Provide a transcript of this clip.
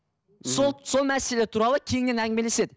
сол сол мәселелер туралы кеңінен әңгімелеседі